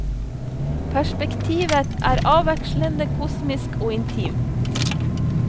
Perspektivet er avvekslende kosmisk og intimt.